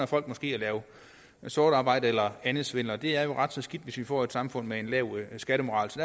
folk måske at lave sort arbejde eller anden svindel og det er jo ret så skidt hvis vi får et samfund med en lav skattemoral så